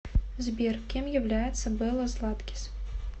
сбер кем является белла златкис